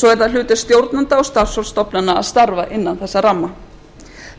svo er það hlutverk stjórnenda og starfsfólks stofnana að starfa innan þessa ramma